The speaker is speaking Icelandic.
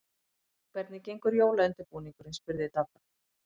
Hvernig gengur jólaundirbúningurinn? spurði Dadda.